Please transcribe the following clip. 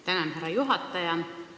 Tänan, härra juhataja!